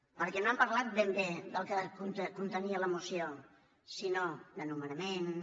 perquè no han parlat ben bé del que contenia la moció sinó de nomenaments